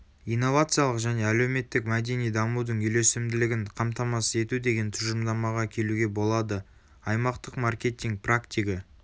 инновациялық және әлеуметтік мәдени дамудың үйлесімділігін қамтамасыз ету деген тұжырымдамаға келуге болады.аймақтық маркетинг практигі